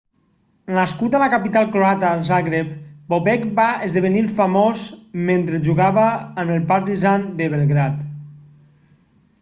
nascut a la capital croata zagreb bobek va esdevenir famós mentre jugava amb el partizan de belgrad